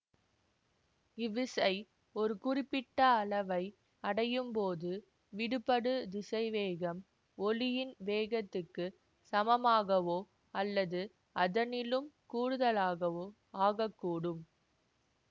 இவ்விசை ஒரு குறிப்பிட்ட அளவை அடையும்போது விடுபடு திசைவேகம் ஒளியின் வேகத்துக்குச் சமமாகவோ அல்லது அதனிலும் கூடுதலாகவோ ஆகக்கூடும்